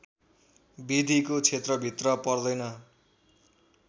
विधिको क्षेत्रभित्र पर्दैन